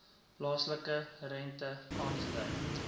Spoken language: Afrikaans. plaaslike rente aangedui